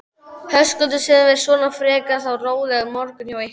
Höskuldur: Sem er svona frekar þá rólegur morgunn hjá ykkur?